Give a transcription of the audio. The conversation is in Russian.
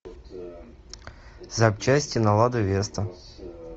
запчасти на лада веста